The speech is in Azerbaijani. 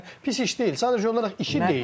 Yəni pis iş deyil, sadəcə olaraq işi deyil.